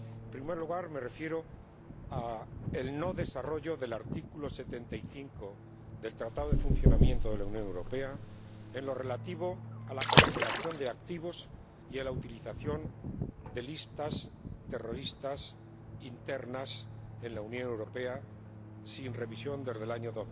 En primer lugar, me refiero al no desarrollo del artículo 75 del Tratado de Funcionamiento de la Unión Europea en lo relativo a la congelación de activos y a la utilización de listas de terroristas internas en la Unión Europea, que no se ha revisado desde el año